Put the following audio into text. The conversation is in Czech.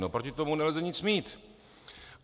No, proti tomu nelze nic mít.